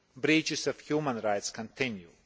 Breaches of human rights continue.